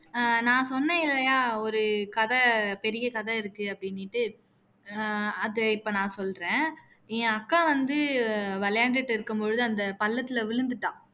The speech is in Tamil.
ஆஹ் நான் சொன்னேன் இல்லையா ஒரு கதை பெரிய கதை இருக்கு அப்படின்னுட்டு ஆஹ் அதை இப்போ நான் சொல்றேன் என் அக்கா வந்து விளையாண்டுட்டு இருக்கும் போது அந்த பள்ளத்துல விழுந்துட்டா